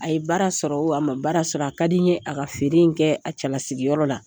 A ye baara sɔrɔ o,a ma baara sɔrɔ o ,a ka di n ye a ka feere kɛ a cɛlasigi yɔrɔ la.